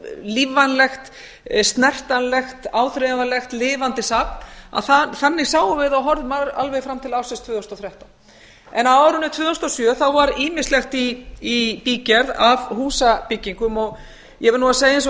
lífvænlegt snertanlegt áþreifanlegt lifandi safn þannig sáum við það og horfðum alveg fram til ársins tvö þúsund og þrettán á árinu tvö þúsund og sjö var ýmislegt í bígerð af húsabyggingum ég verð nú að segja eins og